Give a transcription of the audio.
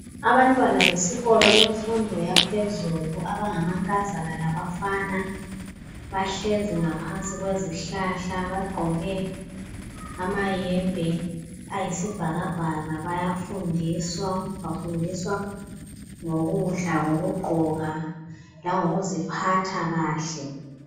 Abantwana besikolo bemfundo yaphezulu abangama nkazana labafana bahlezi ngaphansi kwezihlahla bagqoke amayembe ayisibhakabhaka bayafundiswa, bafundiswa ngokudla ngokugqoka lango kuziphatha kahle.